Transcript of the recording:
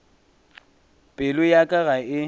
pelo ya ka ga e